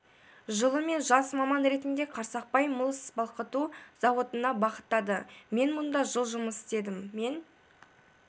жылы мені жас маман ретінде қарсақпай мыс балқыту зауытына бағыттады мен мұнда жыл жұмыс істедім мен